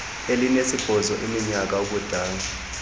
elinesibhozo leminyaka ubudala